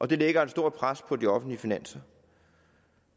det lægger et stort pres på de offentlige finanser